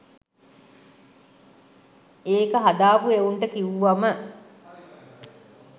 ඒක හදාපු එවුන්ට කිව්වම